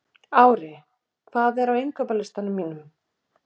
Ári, hvað er á innkaupalistanum mínum?